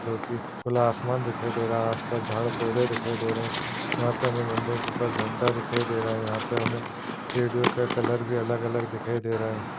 जो की खुला आसमान दिखाई दे रहा है आस-पास झाड़ पौधे दिखाई दे रहे है यहाँ पे हमें मंदिर के ऊपर झंडे दिखाई दे रहा है यहाँ पे हमें सीढ़ियों का कलर भी अलग-अलग दिखाई दे रहा है।